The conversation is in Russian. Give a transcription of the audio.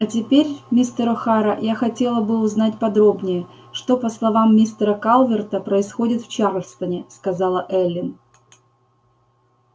а теперь мистер охара я хотела бы узнать подробнее что по словам мистера калверта происходит в чарльстоне сказала эллин